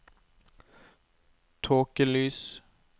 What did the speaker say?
tåkelys